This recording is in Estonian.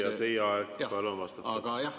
Hea küsija, teie aeg, palun vastake!